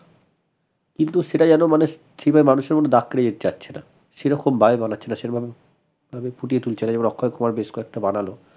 কিন্তু সেটা যেন মানে সেই ভাবে মানুষের মধ্যে দাগ ফেলে যাচ্ছে না সেরকম ভাবে বানাচ্ছে না সেরকমভাবে ফুটিয়ে তুলছে না এবার অক্ষয় কুমার বেশ কয়েকটা বানালো